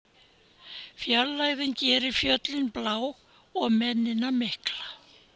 Fjarlægðin gerir fjöllin blá og mennina mikla.